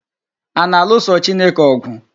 A na-alụso Chineke ọgwụ?